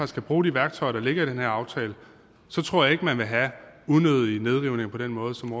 kan bruge de værktøjer der ligger i den her aftale så tror jeg ikke man vil have unødige nedrivninger på den måde som